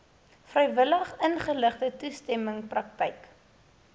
vrywilligingeligte toestemming praktyk